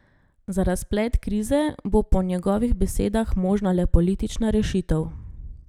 Za razplet krize bo po njegovih besedah možna le politična rešitev.